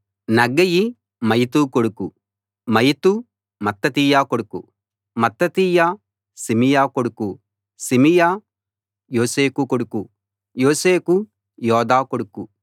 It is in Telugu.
నగ్గయి మయతు కొడుకు మయతు మత్తతీయ కొడుకు మత్తతీయ సిమియ కొడుకు సిమియ యోశేఖు కొడుకు యోశేఖు యోదా కొడుకు